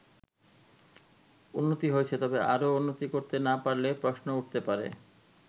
উন্নতি হয়েছে তবে আরও উন্নতি করতে না পারলে প্রশ্ন উঠতে পারে।